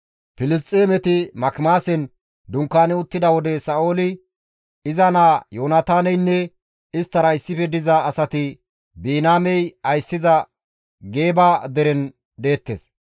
Filisxeemeti Makimaasen dunkaani uttida wode Sa7ooli, iza naa Yoonataaneynne isttara issife diza asati Biniyaamey ayssiza Geeba deren deettes.